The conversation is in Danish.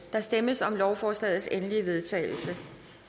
der stemmes om lovforslagets endelige vedtagelse